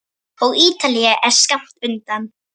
Og Ítalía er skammt undan.